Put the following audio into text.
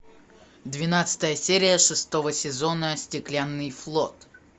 двенадцатая серия шестого сезона стеклянный флот